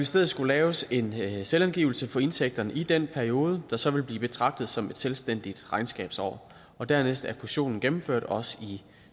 stedet skulle laves en selvangivelse for indtægterne i den periode der så vil blive betragtet som et selvstændigt regnskabsår og dernæst er fusionen gennemført også i